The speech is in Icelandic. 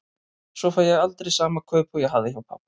Svo fæ ég aldrei sama kaup og ég hafði hjá pabba.